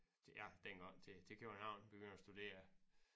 Til ja dengang til til København begynde at studere